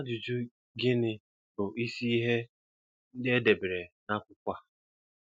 Ajụjụ: Gịnị bụ ịsị ihé ndị édere n'akwụkwọ a?